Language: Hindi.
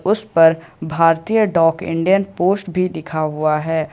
उस पर भारतीय डाक इंडियन पोस्ट भी लिखा हुआ है।